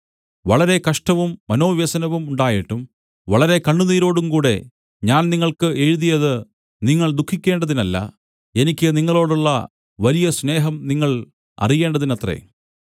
വളരെ കഷ്ടവും മനോവ്യസനവും ഉണ്ടായിട്ടും വളരെ കണ്ണുനീരോടുകൂടെ ഞാൻ നിങ്ങൾക്ക് എഴുതിയത് നിങ്ങൾ ദുഃഖിക്കേണ്ടതിനല്ല എനിക്ക് നിങ്ങളോടുള്ള വലിയ സ്നേഹം നിങ്ങൾ അറിയേണ്ടതിനത്രേ